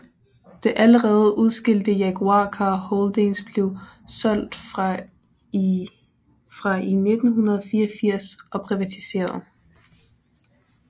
Det allerede udskilte Jaguar Car Holdings blev solgt fra i 1984 og privatiseret